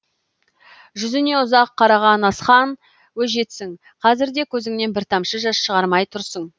жүзіне ұзақ қараған асхан өжетсің қазір де көзіңнен бір тамшы жас шығармай тұрсын